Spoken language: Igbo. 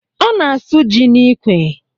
Ọ na-asụ ji n'ikwe